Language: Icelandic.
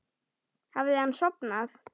Hafði hann sofnað?